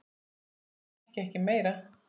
Leigan hækki ekki meira.